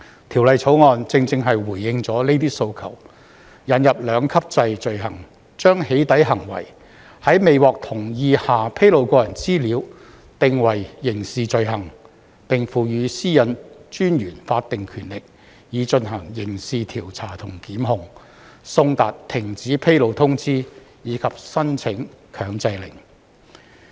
《條例草案》正正回應了這些訴求，引入兩級制罪行，將"起底"行為，即在未獲同意下披露個人資料，訂為刑事罪行，並賦予個人資料私隱專員法定權力以進行刑事調查和檢控、送達停止披露通知，以及申請強制令。